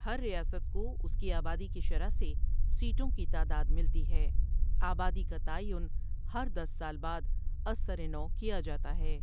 ہر ریاست کو اس کی آبادی کی شرح سے سیٹوں کی تعداد ملتی ہے آبادی کا تعین ہر دس سال بعد از سر نوء کیا جاتا ہے ۔